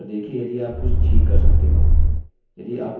यदि आपको करना पड़े तो पूर्णतः प्रत्येक अक्षर का पर्यवेक्षण कीजिये